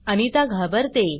अनिता घाबरते